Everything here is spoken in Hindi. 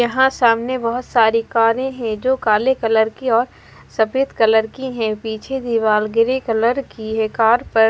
यहाँ सामने बहोत सारे कारे है जो काले कलर की और सफ़ेद कलर की है पीछे दीवाल ग्री कलर की है कार पर--